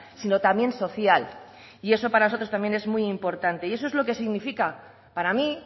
sino también social y eso para nosotros también es muy importante y eso es lo que significa para mí